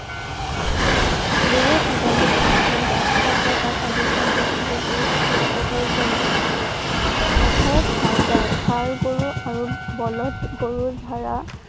গৰুৱে সাধাৰণতে ঘাঁহ খাই গা~গছৰ পাত আদি খাই জীয়াই থাকে। গৰু অতি উপকাৰী জন্তু। পথাৰত হাল বাই ষাঁড় গৰু আৰু বলধ গৰু দ্বাৰা